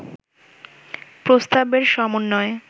প্রস্তাবের সমন্বয়ে